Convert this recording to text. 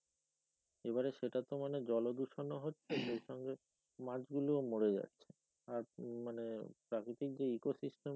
এবারে সেটা তো মানে জল মানে দূষণ ও হচ্ছে সেই সঙ্গে মাছ গুলো ও মরে যাচ্ছে আর মানে প্রাকৃতিক যে echo system